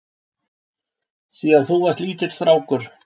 Síðan þú varst lítill strákur?